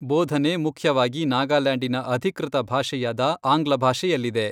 ಬೋಧನೆ ಮುಖ್ಯವಾಗಿ ನಾಗಾಲ್ಯಾಂಡಿನ ಅಧಿಕೃತ ಭಾಷೆಯಾದ ಆಂಗ್ಲ ಭಾಷೆಯಲ್ಲಿದೆ .